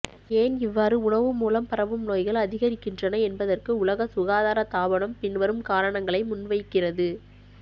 ஏன் இவ்வாறு உணவு மூலம் பரவும் நோய்கள் அதிகரிக்கிறன என்பதற்கு உலக சுகாதார தாபனம் பின்வரும் காரணங்களை முன்வைக்கிறது